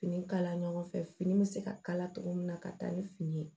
Fini kala ɲɔgɔn fɛ fini bɛ se ka kala cogo min na ka taa ni fini ye